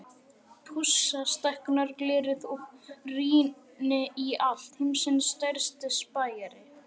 Pússa stækkunarglerið og rýni í allt, heimsins stærsti spæjari.